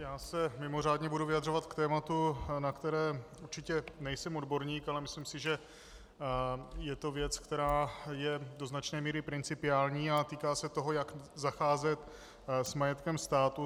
Já se mimořádně budu vyjadřovat k tématu, na které určitě nejsem odborník, ale myslím si, že je to věc, která je do značné míry principiální a týká se toho, jak zacházet s majetkem státu.